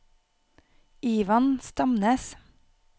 Ivan Stamnes